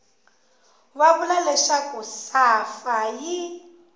va vula leswaku safa yi